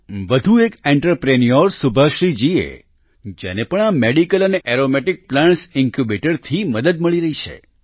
વધુ એક આંત્રપ્રિન્યોર સુભાશ્રી જી છે જેને પણ આ મેડિસિનલ અને એરોમેટિક પ્લાન્ટ્સ ઇન્ક્યુબેટર થી મદદ મળી છે